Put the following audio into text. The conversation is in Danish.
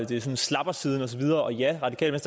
det sådan slappersiden og så videre og ja radikale